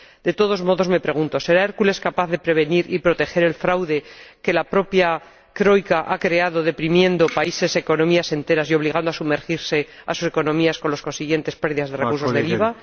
De todos modos, me pregunto ¿será Hércules capaz de prevenir y proteger contra el fraude que la propia Troika ha creado, deprimiendo países y economías enteras y obligando a sumergirse a sus economías, con las consiguientes pérdidas de recursos del IVA?